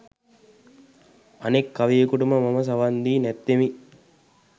අනෙක් කවියෙකුට මම සවන් දී නැත්තෙමි.